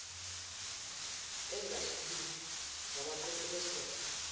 ezahlukile zabaqoqi besidoda